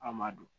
An m'a dɔn